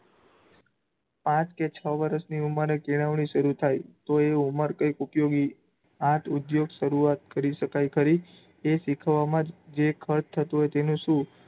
પાંચ કે છ વર્ષની ઉમરે કેળવણી શરૂ થાય. તો એ ઉમર કઈક ઉપયોગી, ખાટઉધોગ શરૂઆત કરી શકાય ખરી? એ શીખવવામાં જ જે ખર્ચ થતું હોય તેનું શું?